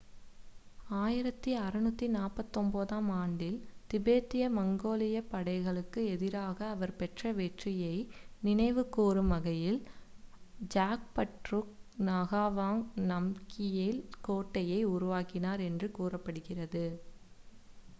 1649-ஆம் ஆண்டில் திபெத்திய-மங்கோலியப் படைகளுக்கு எதிராக அவர் பெற்ற வெற்றியை நினைவுகூரும் வகையில் ஜாப்ட்ருங் நகாவாங் நம்கியேல் கோட்டையை உருவாக்கினார் என்று கூறப்படுகிறது